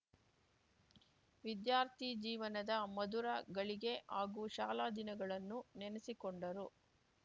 ವಿದ್ಯಾರ್ಥಿ ಜೀವನದ ಮಧುರ ಘಳಿಗೆ ಹಾಗೂ ಶಾಲಾ ದಿನಗಳನ್ನು ನೆನೆಸಿಕೊಂಡರು